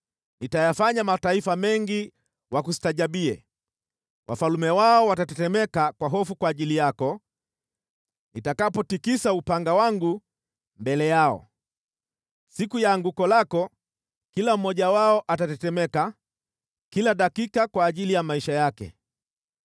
Nitayafanya mataifa mengi wakustaajabie, wafalme wao watatetemeka kwa hofu kwa ajili yako nitakapotikisa upanga wangu mbele yao. Siku ya anguko lako kila mmoja wao atatetemeka kila dakika kwa ajili ya maisha yake.